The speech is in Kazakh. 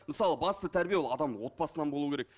мысалы басты тәрбие ол адамның отбасынан болу керек